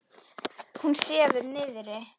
Hún sefur niðri.